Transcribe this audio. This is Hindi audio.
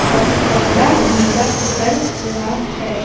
क कपड़ा गिला कर रहा है।